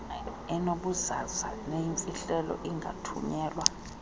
enobuzaza neyimfihlelo ingathunyelwa